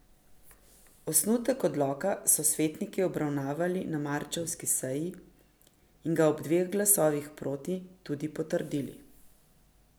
Osnutek odloka so svetniki obravnavali na marčevski seji in ga ob dveh glasovih proti tudi potrdili.